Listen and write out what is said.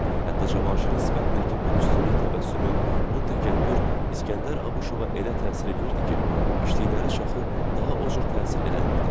Hətta Cavanşirin sifətindəki bu üstünlük təbəssümü, bu təkəbbür İskəndər Abuşova elə təsir eləyirdi ki, eşitdikləri çaxır daha o cür təsir eləmirdi.